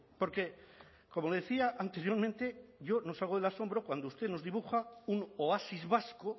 porque como le decía anteriormente yo no salgo del asombro cuando usted nos dibuja un oasis vasco